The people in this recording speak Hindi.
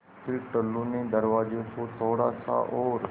फ़िर टुल्लु ने दरवाज़े को थोड़ा सा और